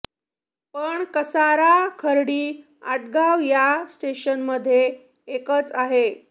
पण कसारा खर्डी आटगाव या स्टेशनमध्ये एकच आहे